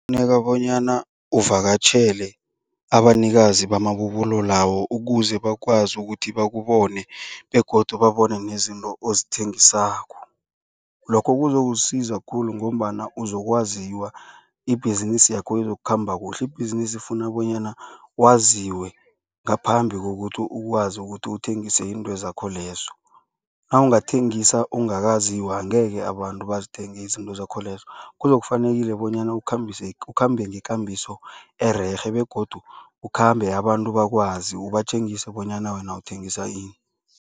Kufuneka bonyana uvakatjhele abanikazi bamabubulo lawo ukuze bakwazi ukuthi bakubone begodu babone nezinto ozithengisako. Lokho kuzokusiza khulu ngombana uzokwaziwa, ibhizinisi yakho izokukhamba kuhle. Ibhizinisi ifuna bonyana waziwe ngaphambi kokuthi ukwazi ukuthi uthengise intozakho lezo. Nawungathengisa ungakaziwa angekhe abantu bazithenge izinto zakho lezo. Kuzokufanele bonyana ukhambise ukhambe ngekambiso ererhe begodu ukhambe abantu bakwazi ubatjengisa bonyana wena uthengisa ini.